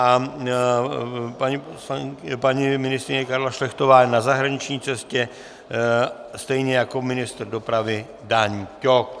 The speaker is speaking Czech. A paní ministryně Karla Šlechtová je na zahraniční cestě stejně jako ministr dopravy Dan Ťok.